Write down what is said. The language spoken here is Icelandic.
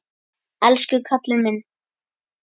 Elsku kallinn minn.